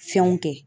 Fɛnw kɛ